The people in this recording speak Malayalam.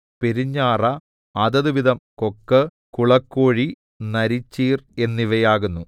പെരുഞ്ഞാറ അതതുവിധം കൊക്ക് കുളക്കോഴി നരിച്ചീർ എന്നിവയാകുന്നു